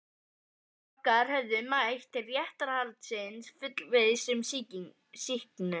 Foreldrar okkar höfðu mætt til réttarhaldsins fullviss um sýknu.